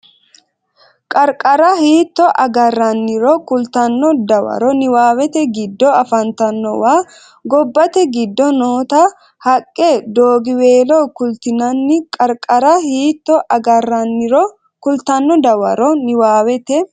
Qarqara hiitto agaranniro kultanno Dawaro niwaawete giddo afantannowano Gobbate giddo noota haqqe doogiweelo kultinanni Qarqara hiitto agaranniro kultanno Dawaro niwaawete.